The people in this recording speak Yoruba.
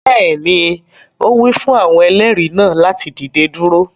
Bẹẹni, o wi fun awọn ẹlẹri naa lati dide duro